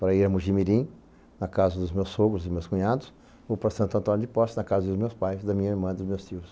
Para ir a Mugimirim, na casa dos meus sogros e meus cunhados, ou para Santo Antônio de Poça, na casa dos meus pais, da minha irmã e dos meus tios.